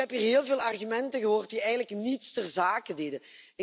Ik heb hier heel veel argumenten gehoord die eigenlijk niet ter zake deden.